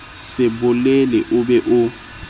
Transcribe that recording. se bolele o be o